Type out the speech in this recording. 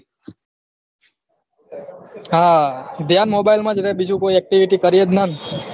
હા ધ્યાન mobile માં જ રહ બીજું કોઈ activity કરીએ જ ના